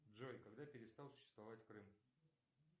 джой когда перестал существовать крым